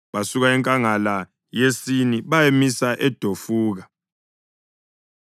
Basuka enkangala yeSini bayamisa eDofuka.